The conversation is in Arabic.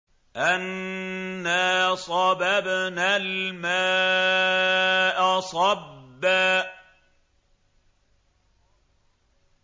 أَنَّا صَبَبْنَا الْمَاءَ صَبًّا